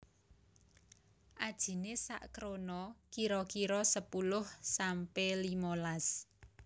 Ajiné sak krona kira kira sepuluh sampe limolas